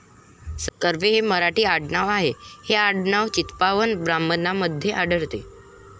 कर्वे हे मराठी आडनाव आहे. हे आडनाव चित्पावन ब्राह्मणांमध्ये आढळते.